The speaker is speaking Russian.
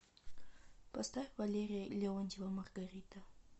поставь валерия леонтьева маргарита